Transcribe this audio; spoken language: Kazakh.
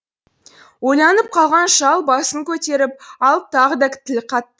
ойланып қалған шал басын көтеріп алып тағы да тіл қатты